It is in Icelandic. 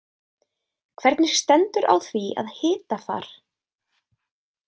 Hvernig stendur á því að hitafar.